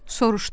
Soruşdum.